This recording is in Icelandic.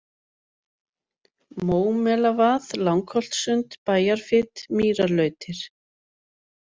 Mómelavað, Langholtssund, Bæjarfit, Mýrarlautir